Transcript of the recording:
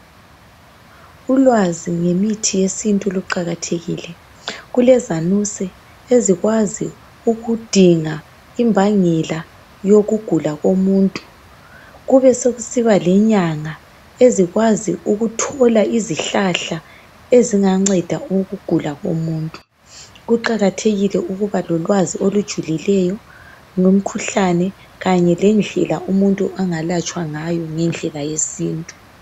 Ulwazi ngemithi yesintu luqakathekile. Kulezanuse ezikwazi ukudinga imbangela yokugula komuntu. Kubesekusiba lenyanga ezikwazi ukuthola izihlahla ezinganceda ngokugula komuntu. Kuqakathekile ukuba lolwazi olujulileyo ngomkhuhlane kanye lendlela umuntu angalatshwa ngayo ngendlela yesintu.